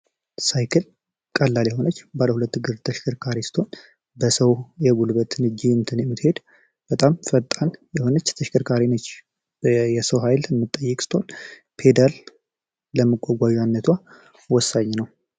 ሳይክል ቀላል የሆነች ባለ ሁለት እግር ተሽከርካሪ ስትሆን በሰው ኃይል የምትሄድ በጣም ፈጣን የሆነች ተሽከርካሪ ነች የሰው ኃይል የምትጠይቅ ሲሆን ለመጓጓዣነቷ ወሳኝ ነው።